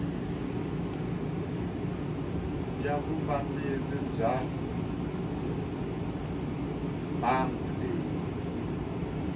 ya vufambisi bya mbangu leyi